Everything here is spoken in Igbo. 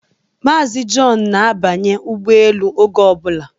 Mazi Jọn na-abanya ụgbọelu oge obula